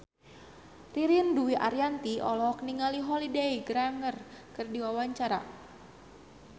Ririn Dwi Ariyanti olohok ningali Holliday Grainger keur diwawancara